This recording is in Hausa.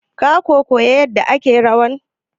Ka kuwa koya yarda ake rawan?